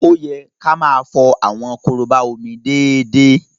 Ó yẹ ká máa fọ àwọn korobá omi déédéé.